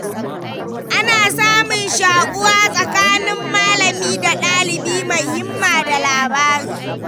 Ana samun shaƙuwa tsakanin malami da ɗalibi mai himma da ladabi.